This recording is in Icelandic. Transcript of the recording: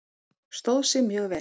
Stóð sig mjög vel.